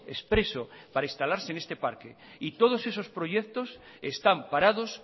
expreso en este parque y todos esos proyectos están parados